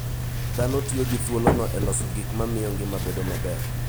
Dhano tiyo gi thuolono e loso gik ma miyo ngima bedo maber.